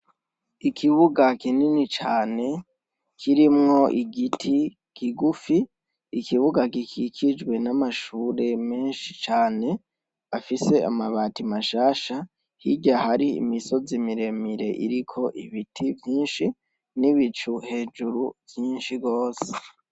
Ikibuga kinini cane kirimwo igiti kigufi, ikibuga gikikijwe n’amashure menshi cane afise amabati mashasha, hirya hari imisozi miremire iriko ibiti vyinshi n’ibicu hejuru vyinshi gose.